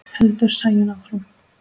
heldur Sæunn áfram.